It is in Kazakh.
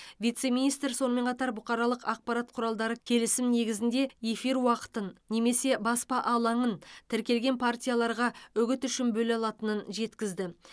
вице министр сонымен қатар бұқаралық ақпарат құралдары келісім негізінде эфир уақытын немесе баспа алаңын тіркелген партияларға үгіт үшін бөле алатынын жеткізді